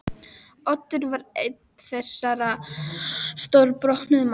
Oddur var einn þessara stórbrotnu manna.